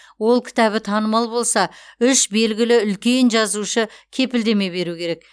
ол кітабы танымал болса үш белгілі үлкен жазушы кепілдеме беру керек